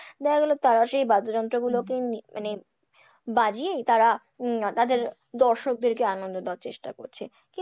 দেখা গেল তারা সেই বাদ্যযন্ত্রগুলোকে মানে বাজিয়েই তারা উম তাদের দর্শকদেরকে আনন্দ দেওয়ার চেষ্টা করছে,